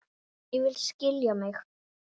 En ég vil skilja mig.